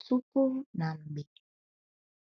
Tupu na Mgbe